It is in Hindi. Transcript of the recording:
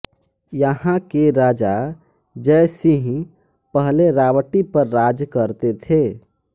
यहा के राजा जय सिंह पहले रावटी पर राज करते थे